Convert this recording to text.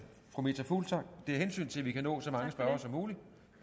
fru meta fuglsang det er af hensyn til at vi kan nå så mange spørgere som muligt